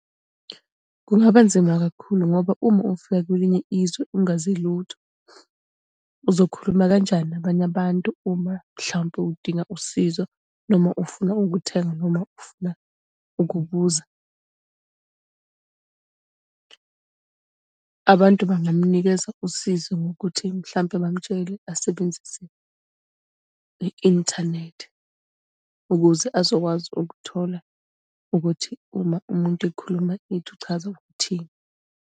Kungaba nzima kakhulu ngoba uma ufika kwelinye izwe ungazi lutho, uzokhuluma kanjani nabanye abantu uma mhlampe udinga usizo, noma ufuna ukuthenga, noma ufuna ukubuza. Abantu bangamunikeza usizo ngokuthi mhlampe bamutshele asebenzise i-inthanethi, ukuze azokwazi ukuthola ukuthi uma umuntu ekhuluma into uchaza ukuthini.